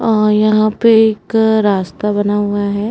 अ यहाँ पे एक रास्ता बना हुआ है।